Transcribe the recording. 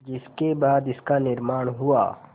जिसके बाद इसका निर्माण हुआ